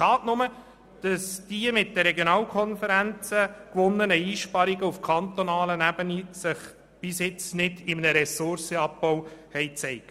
Es ist schade, haben sich die mit den Regionalkonferenzen gewonnenen Einsparungen auf kantonaler Ebene bisher nicht in einem Ressourcenabbau gezeigt.